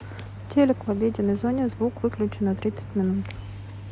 телик в обеденной зоне звук выключи на тридцать минут